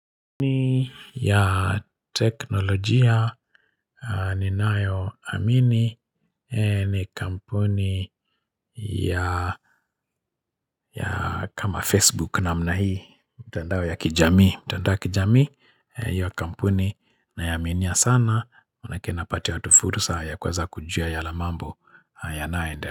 Kampuni ya teknolojia ni nayo amini eeh ni kampuni ya ya kama Facebook namna hii mtandao ya kijamii mtandao ya kijami eeh iyo kampuni naiaminia sana manake napata tofauti sa ya kuweza kujua ya la mambo ya nayoende.